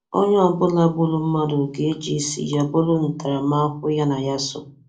Onye ọbụla gburu mmadụ ga-eji isi ya buru ntaramahụhụ ya na ya so.